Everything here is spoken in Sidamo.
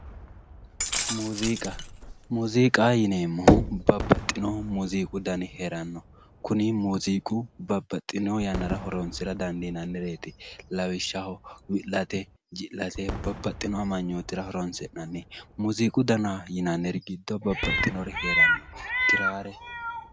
muziiqa muziiqaho yineemmohu babbaxinnohu muuziiqu dani heeranno kuni muuziiqu babbaxino yannara horoonsira dandiinnannireeti lawishshaho wi'late ji'late babbaxewo amanyootira horoonsi'nanni muuziiqu dana yinanniri giddo babbaxinori heeranno giraare